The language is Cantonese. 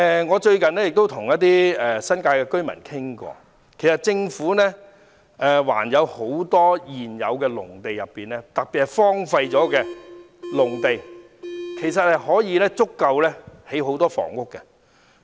我最近與一些新界居民攀談，說到還有很多現成農地，特別是荒廢農地，足夠興建很多房屋。